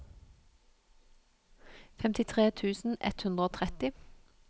femtitre tusen ett hundre og tretti